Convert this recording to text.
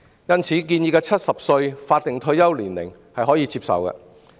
因此，建議的70歲法定退休年齡是可以接受的。